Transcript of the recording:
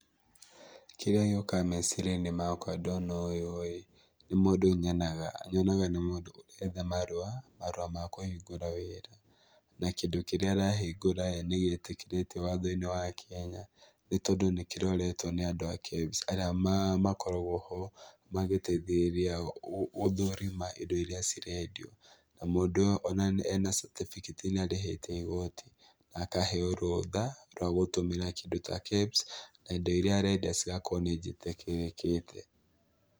Kĩrĩa gĩũkaga meciria-inĩ makwa ndona ũyũ-ĩ nĩ mũndũ nyonaga, nyonaga nĩ mũndũ ũretha marũa, marũa ma kũhingũra wĩra, na kĩndũ kĩrĩa arahingũra-ĩ, nĩgĩtĩkĩrĩtio watho-inĩ wa Kenya nĩtondũ nĩkĩroretwo nĩ andũ a KEBS arĩa makoragwo ho magĩteithĩrĩria gũthũrima indo iria cirendio. Na, mũndũ ũyũ ona ena certificate nĩarĩhĩte igoti na akaheo rũtha rwa gũtũmĩra kĩndũ ta KEBS na indo iria arenda cigakorwo nĩnjĩtĩkĩrĩkĩte.